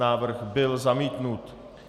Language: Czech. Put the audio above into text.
Návrh byl zamítnut.